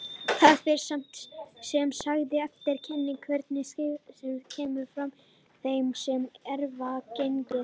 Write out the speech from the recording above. Það fer sem sagt eftir kyni hvernig svipgerð kemur fram í þeim sem erfa genið.